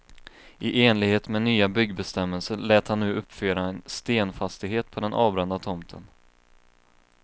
I enlighet med nya byggbestämmelser lät han nu uppföra en stenfastighet på den avbrända tomten.